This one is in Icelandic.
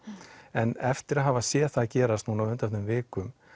en eftir að hafa séð það gerast núna á undanförnum vikum